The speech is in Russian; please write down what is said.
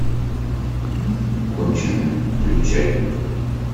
конченая включай